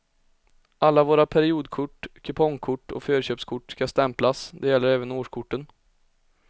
Alla våra periodkort, kupongkort och förköpskort ska stämplas, det gäller även årskorten.